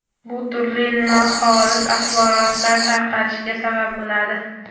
bu turli noxolis axborotlar tarqalishiga sabab bo‘ladi.